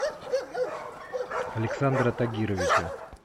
александра тагировича